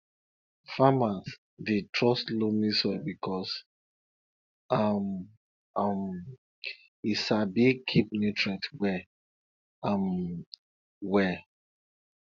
farmers dey trust loamy soil because um um e sabi keep nutrients well um well